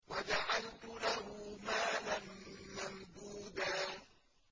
وَجَعَلْتُ لَهُ مَالًا مَّمْدُودًا